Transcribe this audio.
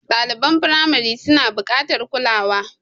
Ɗaliban firamari suna buƙatar kulawa.